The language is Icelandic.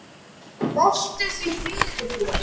Veltu því fyrir þér.